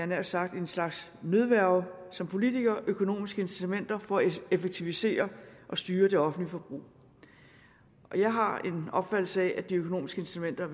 nær sagt en slags nødværge som politikere nemlig økonomiske incitamenter for at effektivisere og styre det offentlige forbrug jeg har en opfattelse af at de økonomiske incitamenter